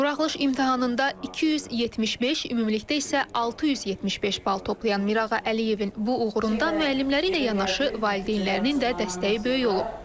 Buraxılış imtahanında 275, ümumilikdə isə 675 bal toplayan Mirağa Əliyevin bu uğurunda müəllimləri ilə yanaşı valideynlərinin də dəstəyi böyük olub.